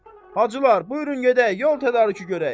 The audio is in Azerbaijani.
Hacılar, buyurun gedək, yol tədarükü görək.